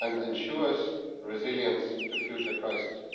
and ensures resilience to future crises.